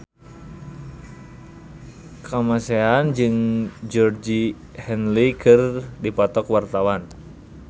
Kamasean jeung Georgie Henley keur dipoto ku wartawan